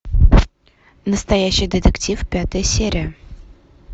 настоящий детектив пятая серия